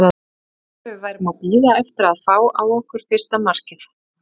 Það var eins og við værum að bíða eftir að fá á okkur fyrsta markið.